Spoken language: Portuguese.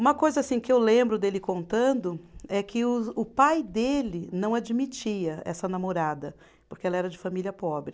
Uma coisa assim que eu lembro dele contando é que o o pai dele não admitia essa namorada, porque ela era de família pobre.